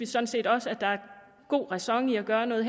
sådan set også at der er god ræson i at gøre noget